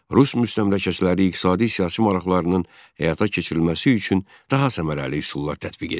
Rus müstəmləkəçiləri iqtisadi-siyasi maraqlarının həyata keçirilməsi üçün daha səmərəli üsullar tətbiq etdilər.